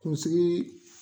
Kunsigi